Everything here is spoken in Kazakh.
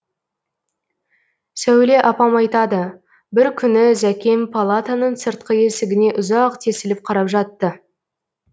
сәуле апам айтады бір күні зәкем палатаның сыртқы есігіне ұзақ тесіліп қарап жатты